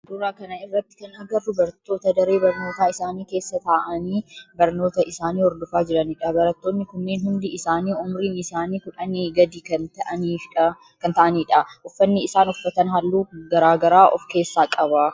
Suuraa kana irratti kan agarru barattoota daree barnootaa isaanii keessa ta'aanii barnoota isaanii horfofaa jiranidha. Barattooni kunneen hundi isaanii umriin isaanii kudhanii gadi kan ta'aanidha. Uffanni isaan uffatan halluu garaa garaa of keessaa qaba.